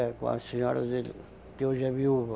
É, com a senhora dele, que hoje é viúva.